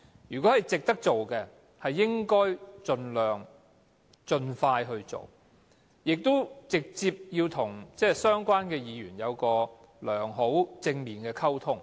如果是值得做的，便應該盡快去做，應該直接與相關議員有良好及正面的溝通。